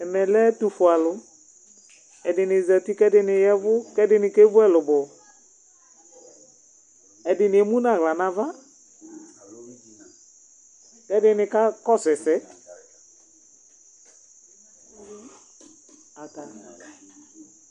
Ɛmɛ lɛ ɛtʋfue alʋ Ɛdini zati k'ɛdini yavʋ, k'ɛdini kevu ɛlʋbɔ Ɛdini emu nʋ aɣla n'ava, k'ɛdini ka kɔsʋ ɛsɛ ata